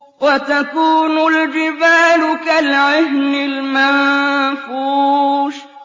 وَتَكُونُ الْجِبَالُ كَالْعِهْنِ الْمَنفُوشِ